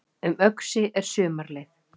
Um Öxi er sumarleið